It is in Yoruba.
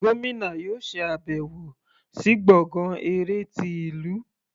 Gómìnà yóò ṣe àbẹ̀wọ̀ sí gbọ̀ngán eré ti ìlú.